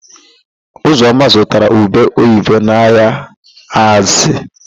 Ụzọma zụtara ube oyibo n'ahịa Azịa.